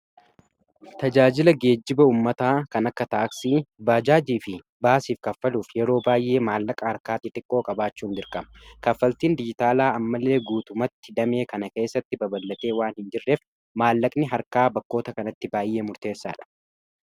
Tajaajila geejjiba ummataa kan akka taaksii, baajaajii fi baasiif kaffaluuf yeroo baay'ee maallaqa harkaa xixiqqoo qabaachuun dirqama kaffaltiin dijitaalaa ammalee guutumatti damee kana keessatti baballatee waan hin jirreef maallaqni harkaa bakkoota kanatti baay'ee murteessaadha.